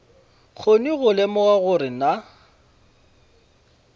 kgone go lemoga gore na